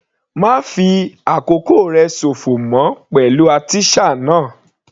Ma fi àkókò rẹ sòfò mọ́ pẹ̀lú artisan náà.